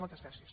moltes gràcies